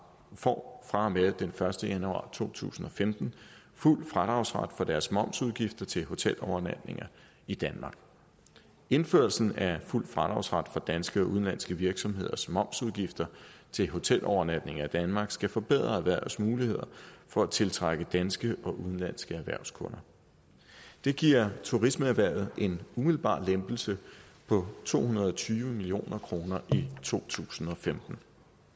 får fra og med den første januar to tusind og femten fuld fradragsret på deres momsudgifter til hotelovernatninger i danmark indførelsen af fuld fradragsret for danske og udenlandske virksomheders momsudgifter til hotelovernatninger i danmark skal forbedre erhvervets muligheder for at tiltrække danske og udenlandske erhvervskunder det giver turismeerhvervet en umiddelbar lempelse på to hundrede og tyve million kroner i to tusind og femten